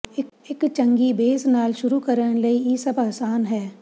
ਇੱਕ ਚੰਗੀ ਬੇਸ ਨਾਲ ਸ਼ੁਰੂ ਕਰਨ ਲਈ ਇਹ ਸਭ ਆਸਾਨ ਹੈ